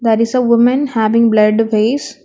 There is a women having blurred face.